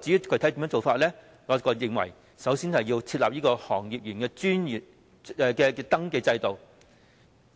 至於具體的做法，我認為首先要設立行業從業員登記制度，